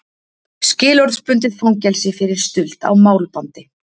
Skilorðsbundið fangelsi fyrir stuld á málbandi